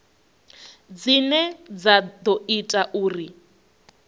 dzine dza ḓo ita uri